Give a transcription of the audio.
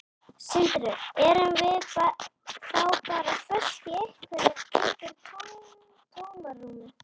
Sindri: Erum við þá bara föst í einhverju, einhverju tómarúmi?